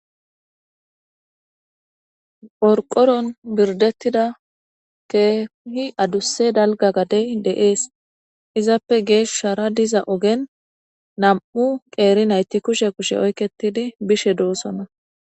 qrqoron birdettida keehi adusse dalga gadey de7ees izappe geeshushara diza ogen nam7u qeeri nayti kushe kushe oykketidi bishe doossona